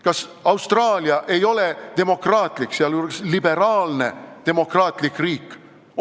Kas Austraalia ei ole demokraatlik, sealjuures liberaalne demokraatlik riik?